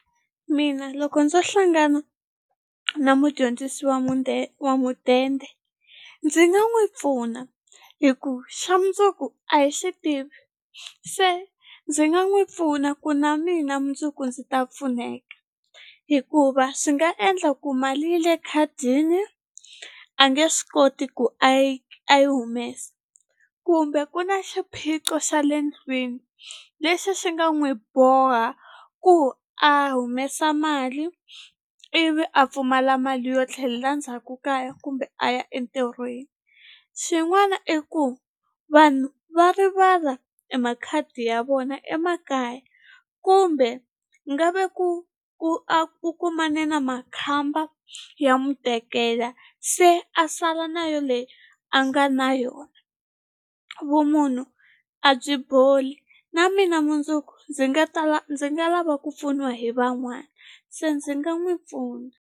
Mina loko ndzo hlangana na mudyondzisi wa wa mudende ndzi nga n'wi pfuna hi ku xa mundzuku a hi xi tivi se ndzi nga n'wi pfuna ku na mina mundzuku ndzi ta pfuneka hikuva swi nga endla ku mali yi le khadini a nge swi koti ku a yi a yi humesa kumbe ku na xiphiqo xa le ndlwini lexi xi nga n'wi boha ku a humesa mali ivi a pfumala mali yo tlhelela ndzhaku kaya kumbe a ya entirhweni xin'wana i ku vanhu va rivala e makhadi ya vona emakaya kumbe nga ve ku ku a ku kumane na makhamba ya n'wi tekela se a sala na yoleyi a nga na yona vumunhu a byi boli na mina mundzuku ndzi nga tala ndzi nga lava ku pfuniwa hi van'wani se ndzi nga n'wi pfuna.